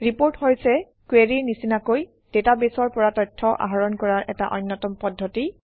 report হৈছে কুৱেৰিৰ নিচিনাকৈ ডাটাবেছৰ পৰা তথ্য আহৰণ কৰাৰ এটা অন্যতম পদ্ধতি